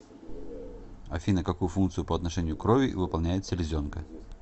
афина какую функцию по отношению к крови выполняет селезенка